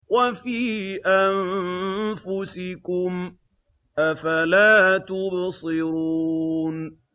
وَفِي أَنفُسِكُمْ ۚ أَفَلَا تُبْصِرُونَ